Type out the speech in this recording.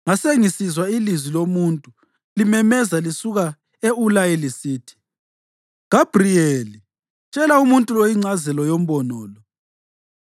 Ngasengisizwa ilizwi lomuntu limemeza lisuka e-Ulayi lisithi, “Gabhriyeli, tshela umuntu lo ingcazelo yombono lo.”